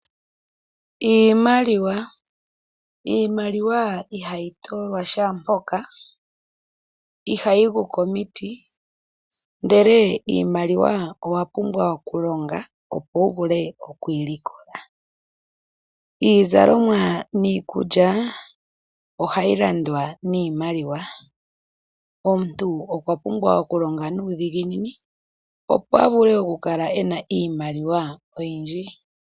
Iimaliwa ,iimaliwa ihayi toolwa shampoka ihayi guu koomiti ndele iimaliwa owapumbwa okulonga opo wuvule okuyi likola. Iizalomwa niikulya ohayi landwa niimaliwa ,omuntu okwa pumbwa okulonga nuudhiginini opo a vule okukala ena iimaliwa oyindji.